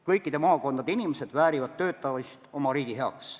Kõikide maakondade inimesed väärivad töötamist oma riigi heaks.